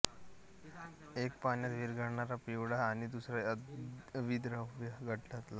एक पाण्यात विरघळणारा पिवळा आणि दुसरा अविद्राव्य गडद लाल